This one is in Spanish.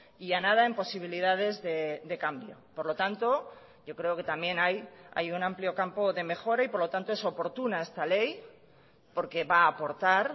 y a nada en posibilidades de cambio por lo tanto yo creo que también ahí hay un amplio campo de mejora y por lo tanto es oportuna esta ley porque va a aportar